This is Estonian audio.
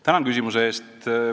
Tänan küsimuse eest!